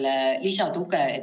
Aitäh, lugupeetud istungi juhataja!